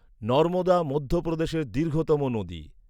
নর্মদা মধ্যপ্রদেশের দীর্ঘতম নদী।